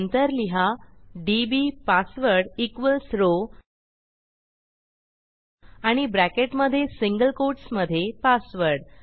नंतर लिहा DB password equals row आणि ब्रॅकेटमधे सिंगल कोटसमधे पासवर्ड